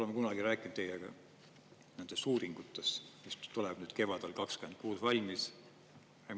Oleme kunagi rääkinud teiega nendest uuringutest, mis tuleb nüüd kevadel 26 valmis?